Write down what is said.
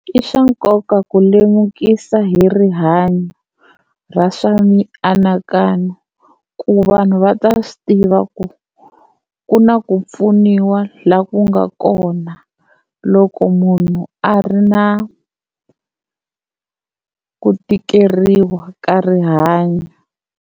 I swa nkoka ku lemukisa hi rihanyo ra swa mianakanyo ku vanhu va ta swi tiva ku ku na ku pfuniwa la ku nga kona loko munhu a ri na ku tikeriwa ka rihanyo.